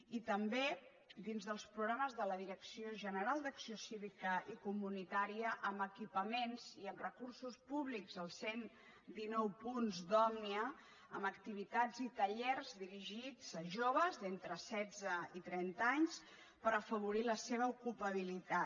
i també dins dels programes de la direcció general d’acció cívica i comunitària amb equipaments i amb recursos públics els cent dinou punts d’òmnia amb ac tivitats i tallers dirigits a joves d’entre setze i trenta anys per afavorir la seva ocupabilitat